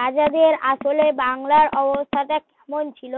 রাজাদের আসলে বাংলার অবস্থাটা কেমন ছিল